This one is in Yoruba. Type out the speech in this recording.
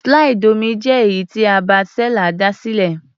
Slide omí jẹ́ èyí tí Herbert Seller dá sílẹ̀.